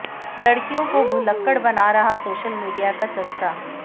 लड़कियों को भुलक्कड़ बना रहा सोशल मीडिया का चस्का